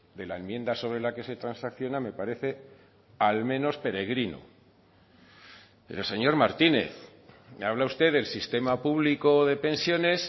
de la enmienda sobre la que se transacciona me parece al menos peregrino pero señor martínez me habla usted del sistema público de pensiones